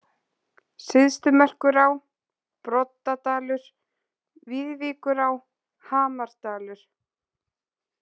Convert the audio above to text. Syðstumerkurá, Broddadalur, Viðvíkurá, Hamardalur